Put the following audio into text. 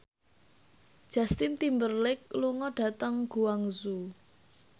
Justin Timberlake lunga dhateng Guangzhou